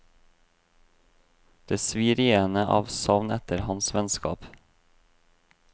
Det svir i henne av savn etter hans vennskap.